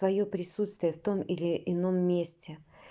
твоё присутствие в том или ином месте